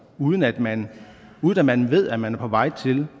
uden at man at man ved at man er på vej til